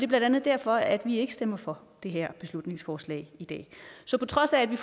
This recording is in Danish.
blandt andet derfor at vi ikke stemmer for det her beslutningsforslag i dag så på trods af at vi